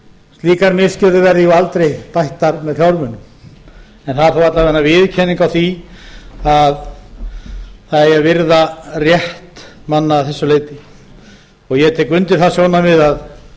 slíkar misgjörðir verði jú aldrei bættar með fjármunum það er þó alla vega viðurkenning á því að það eigi að virða rétt manna að þessu leyti ég tek undir það sjónarmið að